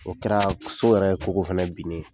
O kɛra so yɛrɛ koko fɛnɛ bin ne ye